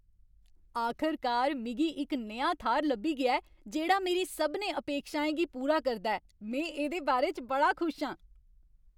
आखरकार, मिगी इक नेहा थाह्र लब्भी गेआ ऐ जेह्ड़ा मेरी सभनें अपेक्षाएं गी पूरा करदा ऐ में एह्दे बारे च बड़ा खुश आं।